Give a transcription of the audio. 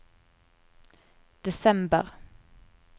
desember